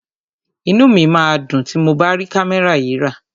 Inú mi máa dùn tí mo bá rí kámẹ́rà yìí rà.